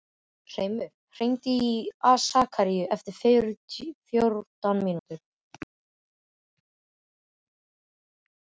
Hreimur, hringdu í Sakaríu eftir fjórtán mínútur.